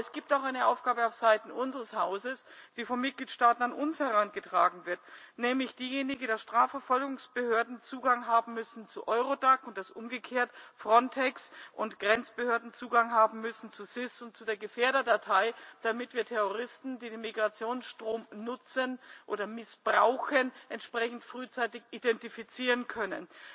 Aber es gibt auch eine Aufgabe auf Seiten unseres Hauses, die von Mitgliedstaaten an uns herangetragen wird, nämlich die, dass Strafverfolgungsbehörden Zugang haben müssen zu EURODAC und dass umgekehrt Frontex und Grenzbehörden Zugang haben müssen zu SIS und zu der Gefährderdatei, damit wir Terroristen, die den Migrationsstrom nutzen oder missbrauchen, entsprechend frühzeitig identifizieren können.